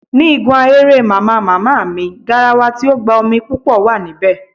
Ní igun ahéré Màmá màmá mi, garawa tí ó gba omi púpò wà níbè